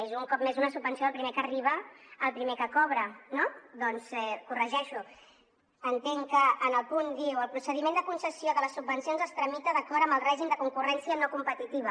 és un cop més una subvenció del primer que arriba el primer que cobra no doncs corregeix ho entenc que en el punt diu el procediment de concessió de les subvencions es tramita d’acord amb el règim de concurrència no competitiva